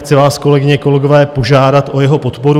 Chci vás kolegyně, kolegové, požádat o jeho podporu.